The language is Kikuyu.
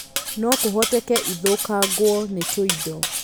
no kũhoteke ithũkangwo nĩ tũindo